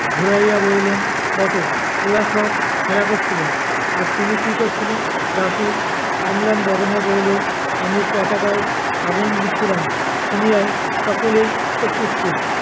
ঘুরাইয়া বলিলেন বটে ওরা সব খেলা কচ্ছিলো আর তুমি কি কচ্ছিলে? দাশু অম্লান বদনে বলিল, আমি পটাকায় আগুন দিচ্ছিলাম। শুনিয়াই সকলেই চক্ষুস্থির।